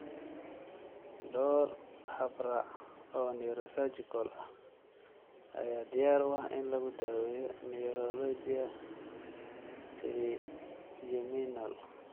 Dhowr habraac oo neurosurgical ah ayaa diyaar u ah in lagu daweeyo neuralgia trigeminal.